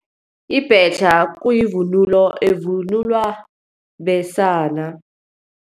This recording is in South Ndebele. Ibhetjha kuyivunulo evunulwa besana.